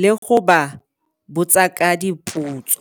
le go ba botsa ka dipotso.